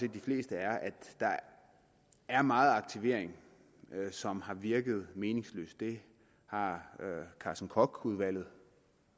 at de fleste er at der er meget aktivering som har virket meningsløs det har carsten koch udvalget